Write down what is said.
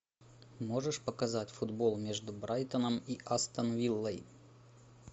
можешь показать футбол между брайтоном и астон виллой